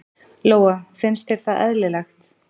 Lóa: Finnst þér það eðlilegt?